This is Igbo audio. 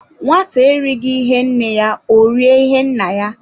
Nwata erighi ihe nne ya, o rie ihe nna ya.